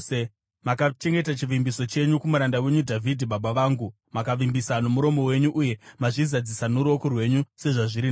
Makachengeta chivimbiso chenyu kumuranda wenyu Dhavhidhi baba vangu; makavimbisa nomuromo wenyu uye mazvizadzisa noruoko rwenyu sezvazviri nhasi.